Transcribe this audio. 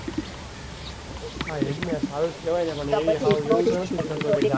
હા એ જ ને સારું કેવાય ને પણ એ સાવ એવું નથી કરતો કે જાગીને.